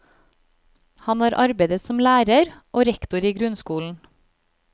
Han har arbeidet som lærer og rektor i grunnskolen.